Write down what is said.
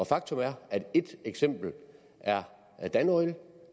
faktum er at et eksempel er er danoil et